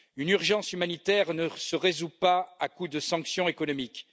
Une urgence humanitaire ne se résout pas à coup de sanctions économiques.